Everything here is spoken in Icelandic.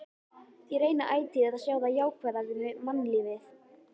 Ég reyni ætíð að sjá það jákvæða við mannlífið.